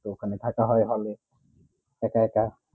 তো ওখানে থাকা হয়ে ভালো একাএকা